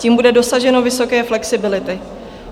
Tím bude dosaženo vysoké flexibility.